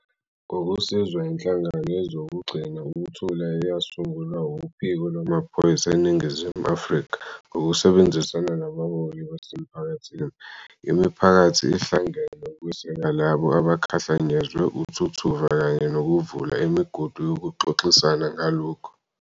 Ngokusizwa inhlangano yezokugcina ukuthula eyasungulwa uPhiko Lwamaphoyisa eNingizimu Afrika ngokusebenzisana nabaholi basemphakathini, imiphakathi ihlangene ukweseka labo abakhahlanyezwe uthuthuva kanye nokuvula imigudu yokuxoxisana ngalokhu.